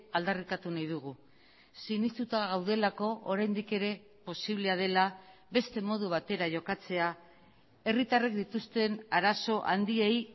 aldarrikatu nahi dugu sinestuta gaudelako oraindik ere posiblea dela beste modu batera jokatzea herritarrek dituzten arazo handiei